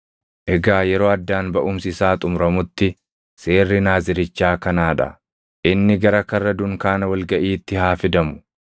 “ ‘Egaa yeroo addaan baʼumsi isaa xumuramutti seerri Naazirichaa kanaa dha: Inni gara karra dunkaana wal gaʼiitti haa fidamu.